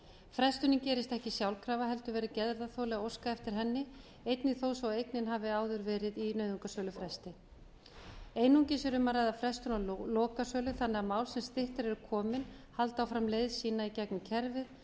frestunin gerist ekki sjálfkrafa heldur verður gerðarþoli að óska eftir henni einnig þó svo að eignin hafi áður verið í nauðungarsölufresti einungis er um að ræða frestun á lokasölu þannig að mál sem styttra eru komi haldi áfram leið sína í gegnum kerfið þar